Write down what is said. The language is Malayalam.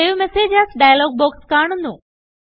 save message A S dialogue box കാണുന്നു